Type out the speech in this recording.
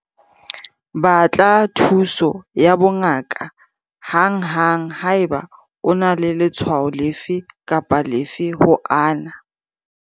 Batla thuso ya bongaka hanghang haeba o na le letshwao lefe kapa lefe ho ana.